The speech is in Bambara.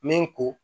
Min ko